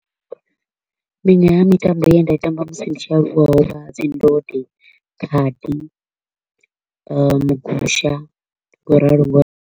Miṅwe ya mitambo ye nda i tamba musi ndi tshi aluwa ho vha dzi ndode, khadi, mugusha, ngauralo ngauralo.